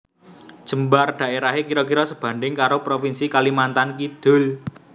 Jembar daerahé kira kira sebanding karo provinsi Kalimantan Kidul